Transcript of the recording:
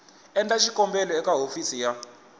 endla xikombelo eka hofisi ya